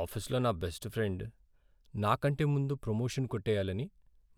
ఆఫీస్లో నా best friend నా కంటే ముందు ప్రమోషన్ కొట్టేయాలని